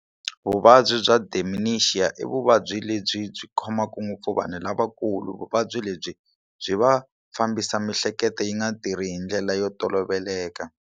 Vuvabyi bya dementia i vuvabyi lebyi byi khomaka ngopfu vanhu lavakulu vuvabyi lebyi byi va fambisa miehleketo yi nga tirhi hi ndlela yo toloveleka.